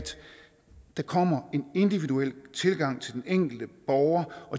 der kommer en individuel tilgang til den enkelte borger